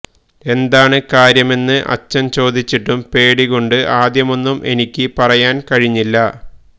എന്താണ് കാര്യമെന്ന് അച്ഛൻ ചോദിച്ചിട്ടും പേടി കൊണ്ട് ആദ്യമൊന്നും എനിക്ക് പറയാൻ കഴിഞ്ഞില്ല